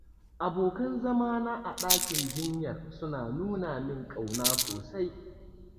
Abokan zama na a ɗakin jinyar suna nuna min ƙauna sosai.